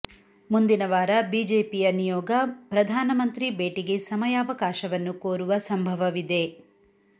ಮುಂದಿನ ವಾರ ಬಿಜೆಪಿಯ ನಿಯೋಗ ಪ್ರಧಾನಮಂತ್ರಿ ಭೇಟಿಗೆ ಸಮಯಾವಕಶವನ್ನು ಕೊರುವ ಸಂಭವವಿದೆ